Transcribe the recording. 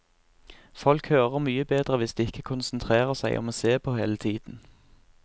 Folk hører mye bedre hvis de ikke konsentrerer seg om å se på hele tiden.